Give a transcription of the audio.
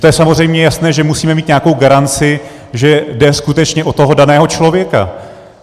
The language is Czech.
To je samozřejmě jasné, že musíme mít nějakou garanci, že jde skutečně o toho daného člověka.